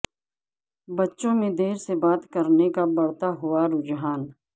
بچوں میں دیر سے بات کرنے کا بڑھتا ہوا رجحان